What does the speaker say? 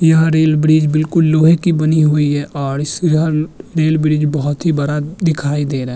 यह rail bridge बिलकुल लोहे की बनी हुई है और इस रे रेल ब्रिज बहुत ही बडा दिखाई दे रहाय।